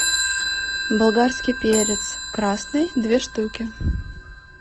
болгарский перец красный две штуки